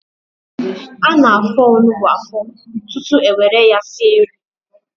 Ana-afọ onugbu afọ tutu ewere ya sie nri.